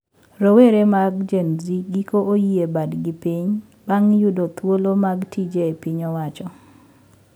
Rowere mag Gen z giko oyie badgi piny bang` yudo thuolo mag tije e piny owacho